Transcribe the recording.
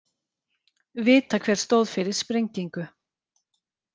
Vita hver stóð fyrir sprengingu